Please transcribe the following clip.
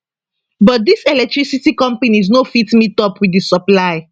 but dis electricity companies no fit meetup wit di supply